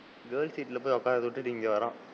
Girls சீட்ல போய் உட்காந்து விட்டுட்டு இங்க வரான்.